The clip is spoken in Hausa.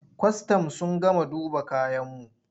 Kwastam sun gama duba kayanmu.